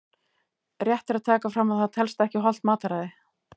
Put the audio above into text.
Rétt er að taka fram að það telst ekki hollt mataræði!